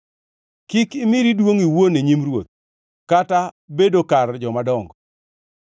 Kik imiri duongʼ iwuon e nyim ruoth, kata bedo kar jomadongo,